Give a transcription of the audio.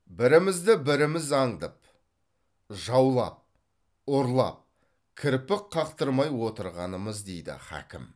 бірімізді біріміз аңдып жаулап ұрлап кірпік қақтырмай отырғанымыз дейді хакім